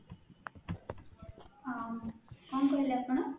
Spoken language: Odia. ହଁ କ'ଣ କହଲେ ଆପଣ?